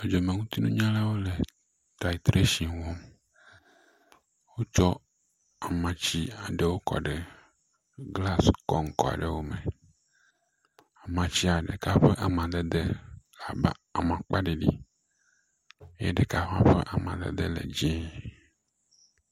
Dzɔdzɔmenutinunyalawo le tritrashin wɔm. Wotsɔ amatsi aɖewo kɔ ɖe glas kɔŋkɔ aɖewo me. Amatsia ɖeka ƒe amadede le abe amakpa ɖiɖi ye ɖeka hã ƒe amadede le dz0e.